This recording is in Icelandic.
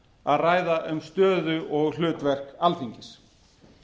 að ræða um stöðu og hlutverk alþingis